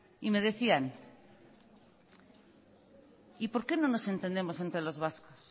y me decían y por qué no nos entendemos entre los vascos